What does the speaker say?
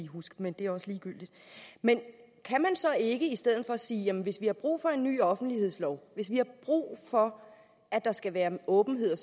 huske men det er også ligegyldigt men kan så ikke i stedet for sige at hvis vi har brug for en ny offentlighedslov at hvis vi har brug for at der skal være åbenhed